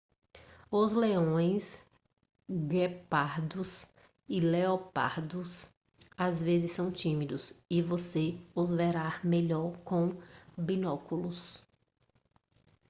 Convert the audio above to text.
os leões guepardos e leopardos às vezes são tímidos e você os verá melhor com binóculos